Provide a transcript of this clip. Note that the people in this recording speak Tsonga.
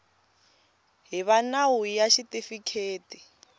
hi va nawu ya xitifiketi